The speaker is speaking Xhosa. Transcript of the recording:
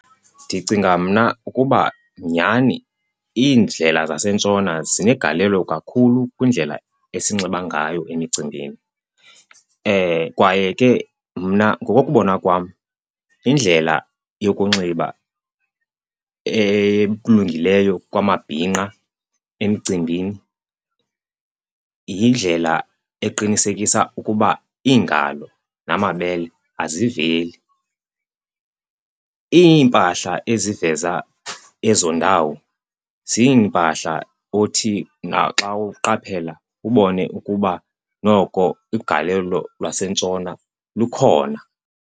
Ndicinga mna ukuba, nyhani iindlela zaseNtshona zinegalelo kakhulu kwindlela esinxiba ngayo emicimbini. Kwaye ke mna ngokokubona kwam indlela yokunxiba ekulungeleyo kwamabhinqa emcimbini yindlela eqinisekisa ukuba iingalo namabele aziveli. Iimpahla eziveza ezo ndawo ziimpahla othi naxa uqaphela ubone ukuba noko ugalelo lwaseNtshona lukhona.